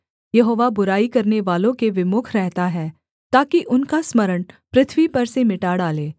यहोवा बुराई करनेवालों के विमुख रहता है ताकि उनका स्मरण पृथ्वी पर से मिटा डाले